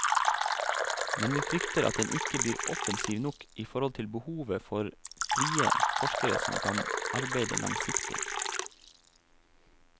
Men vi frykter at den ikke blir offensiv nok i forhold til behovet for frie forskere som kan arbeide langsiktig.